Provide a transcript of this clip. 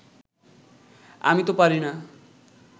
আমি তো পারি না